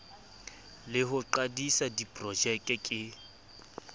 le ho qadisa diprojeke ke